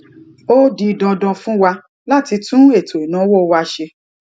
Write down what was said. ó di dandan fún wa láti tún ètò ìnáwó wa ṣe